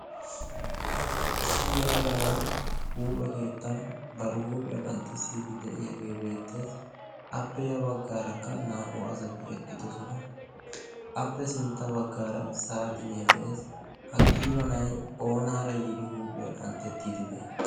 issi yalaga nay huuphe keettan baro huuphiyaa qanxxissiiddi de'iyaagee beettees appe ya baggaarakka naa''u asati eqqidosona appe sintta baggaara saaxinee de'ees ha qiiba nay oonaara yiidi huuphiyaa qanxxettiiddi de'i